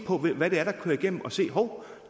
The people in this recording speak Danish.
hvad det er der kører igennem og sige hov